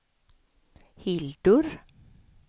Hildur